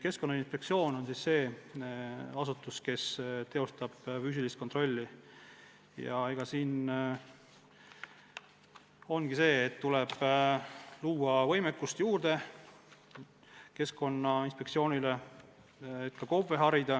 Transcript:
Keskkonnainspektsioon on asutus, kes teostab füüsilist kontrolli ja neile tuleb võimekust juurde anda, et KOV-e harida.